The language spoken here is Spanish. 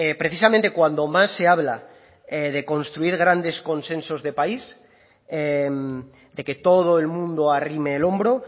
precisamente cuando más se habla de construir grandes consensos de país de que todo el mundo arrime el hombro